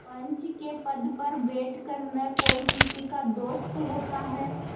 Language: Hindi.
पंच के पद पर बैठ कर न कोई किसी का दोस्त होता है